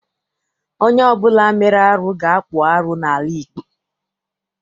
Onye ọbụla mere arụ ga-akpụ arụ n'ala Igbo.